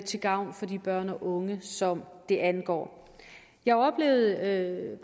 til gavn for de børn og unge som det angår jeg oplevede